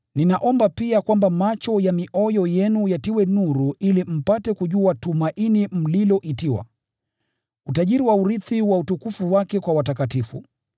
Ninaomba pia kwamba macho ya mioyo yenu yatiwe nuru ili mpate kujua tumaini mliloitiwa, utajiri wa urithi wa utukufu wake kwa watakatifu